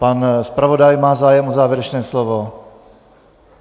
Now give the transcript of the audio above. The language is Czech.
Pan zpravodaj má zájem o závěrečné slovo?